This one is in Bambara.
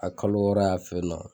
A kalo wɔɔrɔ y'a fɛ yen nɔ